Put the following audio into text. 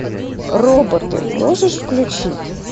роботы можешь включить